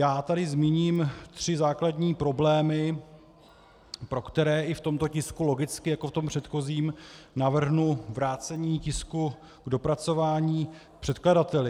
Já tady zmíním tři základní problémy, pro které i v tomto tisku logicky jako v tom předchozím navrhnu vrácení tisku k dopracování předkladateli.